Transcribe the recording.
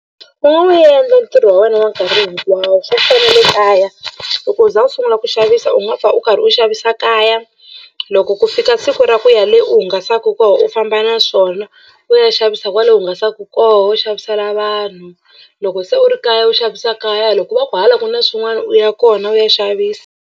U nga wu endla ntirho wa wena wa nkarhi hinkwawo swo fana na le kaya loko u za u sungula ku xavisa u nga pfa u karhi u xavisa kaya. Loko ku fika siku ra ku ya le u hungasaka loko koho u famba na swona u ya xavisa kwale hungasaka koho u xavisela vanhu loko se u ri kaya u xavisa kaya loko va ku hala ku na swin'wana u ya kona u ya xavisa.